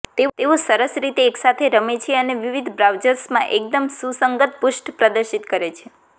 તેઓ સરસ રીતે એકસાથે રમે છે અને વિવિધ બ્રાઉઝર્સમાં એકદમ સુસંગત પૃષ્ઠ પ્રદર્શિત કરે છે